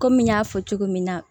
Kɔmi n y'a fɔ cogo min na